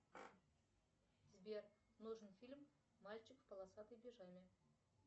сбер нужен фильм мальчик в полосатой пижаме